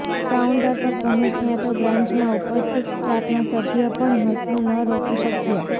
counter પર પહોંચ્યા તો બ્રાંચમાં ઉપસ્થિત સ્ટાફના સભ્ય પણ હસવું ન રોકી શક્યા